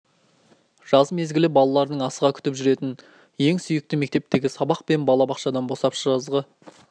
жаз мезгілі балалардың асыға күтіп жүретін ең сүйікті кезеңі мектептегі сабақ пен бала бақшадан босап жазғы